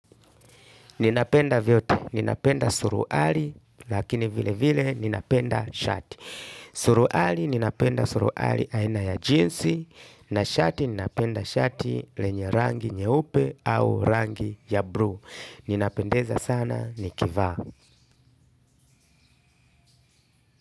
Ninapenda vyote ninapenda suruali lakini vile vile ninapenda shati. Suruali ninapenda suruali aina ya jinsi na shati ninapenda shati lenye rangi nyeupe au rangi ya bluu. Ninapendeza sana nikivaa.